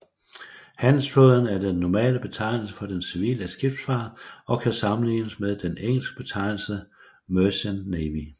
Handelsflåden er den normale betegnelse for den civile skibsfart og kan sammenlignes med den engelske betegnelse merchant navy